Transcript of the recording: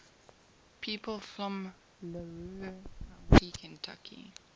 people from larue county kentucky